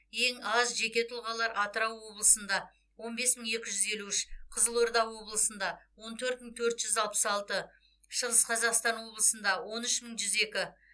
ең аз жеке тұлғалар атырау облысында он бес мың екі жүз елу үш қызылорда облысында он төрт мың төрт жүз алпыс алты шығыс қазақстан облысында он үш мың жүз екі